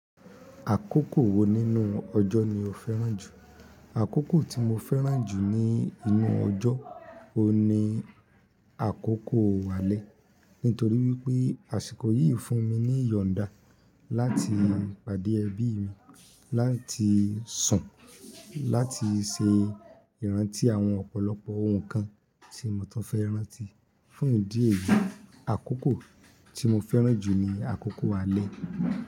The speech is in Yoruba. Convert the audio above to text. Àkókò wo nínú ọjọ́ ni o fẹ́ràn jù? Àkókò tí mo fẹ́ràn jù ní inú ọjọ́, o ní àkókò alẹ́. Nítorí wípé àsìkò yìí fún mi ní ìyọ̀nda láti pàdé ẹbí mi, láti sùn, láti se ìrántí àwọn ọ̀pọ̀lọpọ̀ ohun kan tí mo tán fẹ́ rántí, fún ìdí èyí, àkókò tí mo fẹ́ràn jù ni àkókò alẹ́.